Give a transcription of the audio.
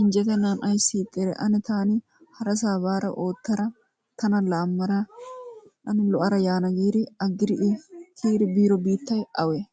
injjetennan ayissi ixxidee? Ane taani harasaa baada oottada tana laammada ane lo'ada yaana" giidi aggidi I kiyidi biido biittay awee?